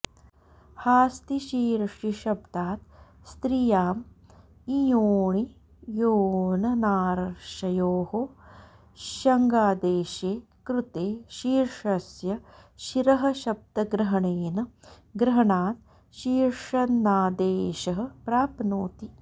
हास्तिशीर्षिशब्दात् स्त्रियाम् इञो ऽणिञोरनार्षयोः ष्यङादेशे कृते शीर्षस्य शिरःशब्दग्रहणेन ग्रहणात् शीर्षन्नादेशः प्राप्नोति